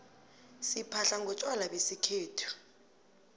siphahla ngontjwala besikhethu